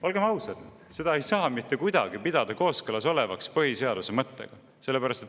Olgem ausad, seda ei saa mitte kuidagi pidada kooskõlas olevaks põhiseaduse mõttega.